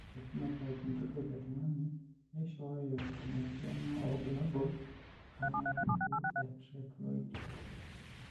Ore ephenotype ontology etung'ani neishooyo enasiana oorbulabul onaapuku eTriploidy.